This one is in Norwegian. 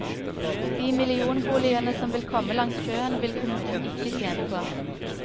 De millionboligene som vil komme langs sjøen, vil kommunen ikke tjene på.